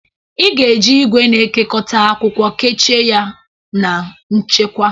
Ị ga-eji igwe na-ekekọta akwụkwọ kechie ya na nchekwa.